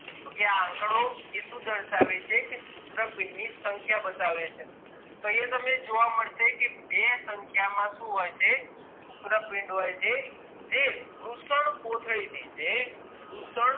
તો એ શું દર્શાવે છે કે શુક્રપિન્ડ ની સંખ્યા બતાવે છે તો અહિયાં તમને જોવા મળશે કે બે સંખ્યા માં શું હોય છે શુક્રપિન્ડ હોય જે વૃષણ કોથળી ની જે વૃષણ